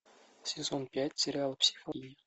сезон пять сериал психологини